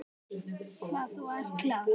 Hvað þú ert klár.